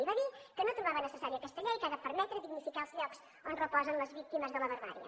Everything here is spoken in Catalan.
i va dir que no trobava necessària aquesta llei que ha de permetre dignificar els llocs on reposen les víctimes de la barbàrie